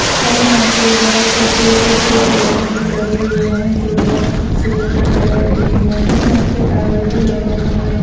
और यहाँ पे बहुत छोटे छोटे पेड़ पौधे लगे हुए है जो बहुत खूबसूरत लग रहे है देखने में यहाँ पे टॉवर भी लगा हुआ हैं ।